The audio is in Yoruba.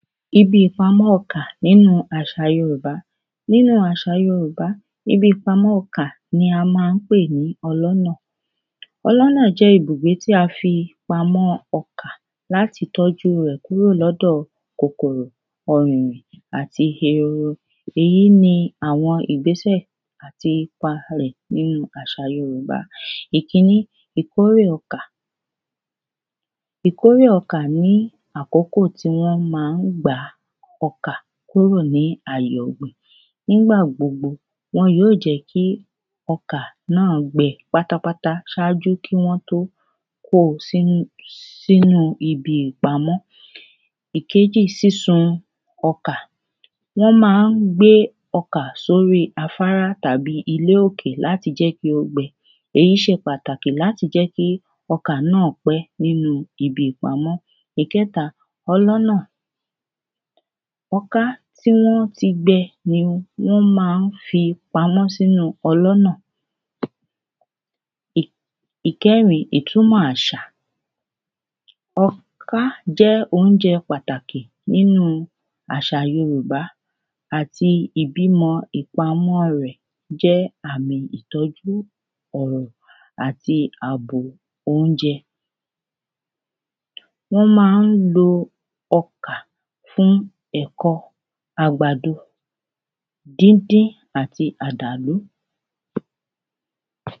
ibi ìpamọ́ ọkà nínu àṣà yorùbá nínú àṣà yorùbá, ibi ìpamọ́ ọkà ni a máa ń pè ní ọlọ́nà ọlọ́nà jẹ́ ibùgbé tí a fi pamọ́ ọkà láti tọ́jú rẹ̀ kúrò lọ́dọ̀ kòkòrò ẹhọ̀nà àti ehoro, èyí ni àwọn ìgbésẹ̀ àti ipa rẹ̀ nínu àṣà yorùbá ìkíní, ìkórè ọkà, ìkórè ọkà ní àkókò tí wọ́n máa ń gbà ọkà kúrò ní àyè ọ̀gbẹ̀ nígbà gbogbo wọn yóò jẹ́ kí ọkà náà gbẹ pátápátá sáájú kí wọ́n tó kóo sínú sínu ibi ìpamọ́ ìkéjì, sísun ọkà. wọ́n máa ń gbé ọkà sóri afárá tàbí ilé òkè láti jẹ́ kí ó gbẹ. èyí ṣe pàtàkì láti jẹ́ kí ọkà náà pẹ́ níbi ìpamọ́. ìkẹ́ta, ọlọ́nà, ọká tí wọ́n ti gbẹ ni wọ́n máa ń fi pamọ́ sínu ọlọ́nà ì ìkẹ́rin, ìtúmọ̀ àṣà, ọká jẹ́ oúnjẹ pàtàkì nínú àṣà yorùbá àti ìbímọ ìpámọ́ rẹ̀ jẹ́ àmì ìtọ́jú àti àbò oúnjẹ wọ́n máa ń lo ọkà fún ẹ̀kọ, àgbàdo dínddín àti àdàlú